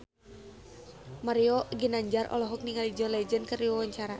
Mario Ginanjar olohok ningali John Legend keur diwawancara